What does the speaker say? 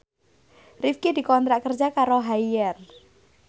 Rifqi dikontrak kerja karo Haier